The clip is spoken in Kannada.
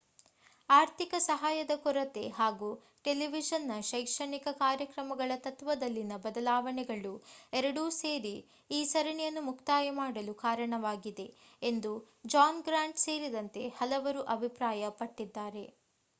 ಆರ್ಥಿಕ ಸಹಾಯದ ಕೊರತೆ ಹಾಗೂ ಟೆಲಿವಿಷನ್ ನ ಶೈಕ್ಷಣಿಕ ಕಾರ್ಯಕ್ರಮಗಳ ತತ್ತ್ವದಲ್ಲಿನ ಬದಲಾವಣೆಗಳು ಎರಡೂ ಸೇರಿ ಈ ಸರಣಿಯನ್ನು ಮುಕ್ತಾಯ ಮಾಡಲು ಕಾರಣವಾಗಿದೆ ಎಂದು ಜಾನ್ ಗ್ರಾಂಟ್ ಸೇರಿದಂತೆ ಹಲವರು ಅಭಿಪ್ರಾಯ ಪಟ್ಟಿದ್ದಾರೆ